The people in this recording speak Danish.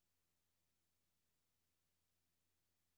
tilskud tilskud tilskud